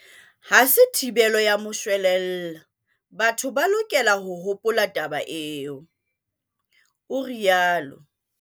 "Ha se thibelo ya moshwelella, batho ba lokela ho hopola taba eo," o rialo.